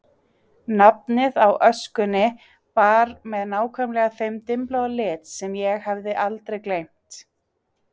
Nafnið á öskjunni var með nákvæmlega þeim dimmbláa lit sem ég hafði aldrei gleymt.